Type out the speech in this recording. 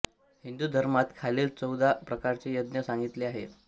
हिंदू धर्मात खालील चौदा प्रकारचे यज्ञ सांगितले आहेत